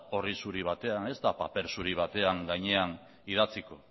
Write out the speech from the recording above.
orri zuri batean ez da paper zuri baten gainean idatziko